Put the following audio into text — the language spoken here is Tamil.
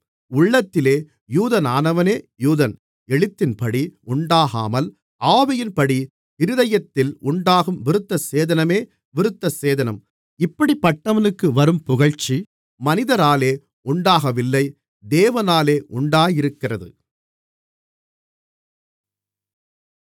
உள்ளத்திலே யூதனானவனே யூதன் எழுத்தின்படி உண்டாகாமல் ஆவியின்படி இருதயத்தில் உண்டாகும் விருத்தசேதனமே விருத்தசேதனம் இப்படிப்பட்டவனுக்கு வரும் புகழ்ச்சி மனிதராலே உண்டாகவில்லை தேவனாலே உண்டாயிருக்கிறது